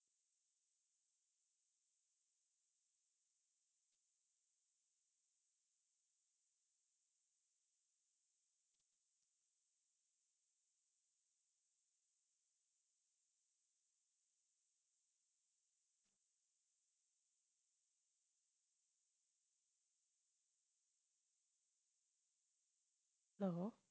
hello